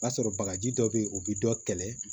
O b'a sɔrɔ bagaji dɔ bɛ ye o bɛ dɔ kɛlɛ